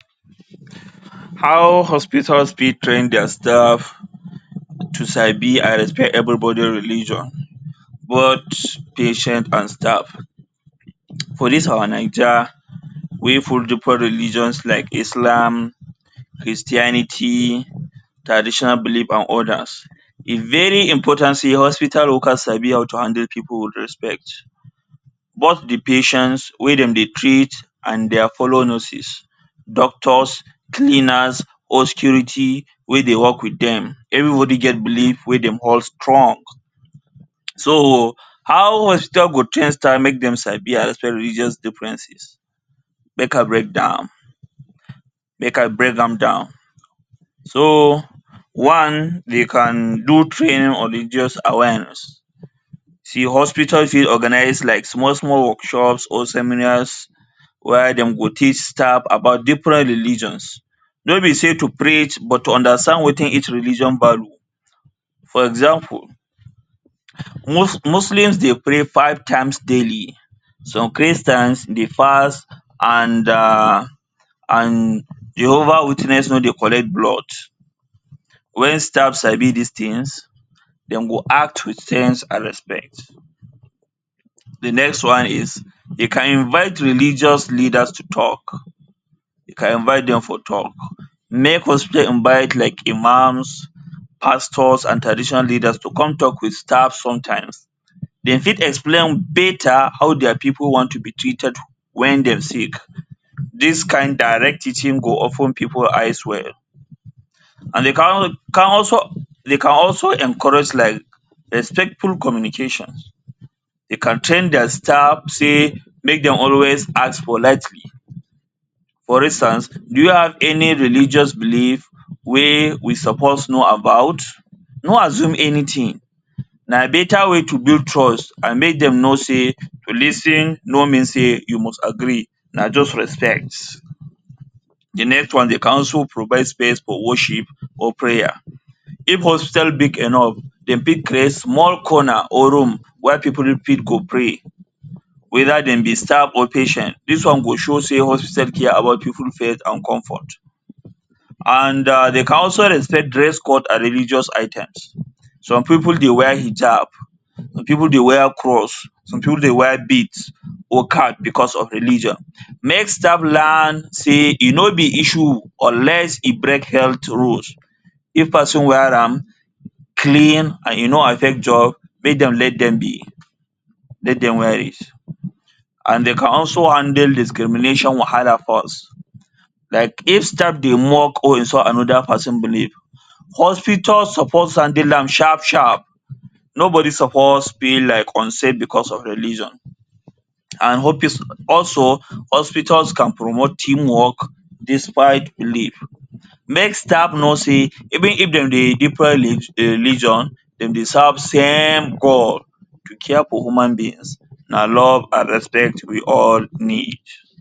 How hospitals fit train dia staff to sabi and respect everybody religion, both patient and staff. For dis our Naija wey full different religions like Islam, Christianity, Traditional belief and others. E very important sey hospital workers sabi how to handle people with respect. Both de patients wey dem dey treat and dia fellow nurses, doctors, cleaners or security wey dey work with dem, everybody get belief wey dem hold strong. So how hospital go train staff make dem sabi and respect religious differences. Make I break down. Make I break am down. So one, dey can do training on religious awareness. See hospital fit organize like small small workshops or seminars wia dem go teach staff about different religions. No be sey to preach, but to understand wetin each religion value. For example, Muslims dey pray five times daily, some Christians dey fast and and Jehovah Witness no dey collect blood. When staff sabi dis things, dem go act wit sense and respect. de next one is, you can invite religious leaders to talk. You can invite dem for talk. Make hospitals invite like Imams, Pastors and Traditional Leaders to come talk with staff sometimes. Dem fit explain beta how dia pipu want to be treated when dem sick. Dis kain direct teaching go open pipu eyes well. And dey can also, dey can also encourage like respectful communication. dey can train dia staff sey make dem always ask politely. For instance, do you have any religious belief wey we suppose know about? No assume anything. Na beta way to build trust and make dem know sey to lis ten no mean sey you must agree, na just respect. de next one, dey can also provide space for worship or prayer. If hospital big enough, dem fit create small corner or room where pipu fit go pray, weda dem be staff or patient. Dis one go show sey hospital care about pipu faith and comfort. And dey can also respect dress code and religious items. Some pipu dey wear hijab, some pipu dey wear cross, some pipu dey wear beads or cap because of religion. Make staff learn sey e no be issue unless e break health rules. If person wear am clean and e no affect job, make dem let dem be. Let dem wear it. And dey can also handle discrimination wahala first. Like if staff dey mock or insult another pesin belief, hospital suppose handle am sharp sharp. Nobody suppose feel like unsafe because of religion. And also hospitals can promote team work despite belief. Make staff know say even if dem dey different religion, dem dey serve same God. To care for human beings, na love and respect we all ne need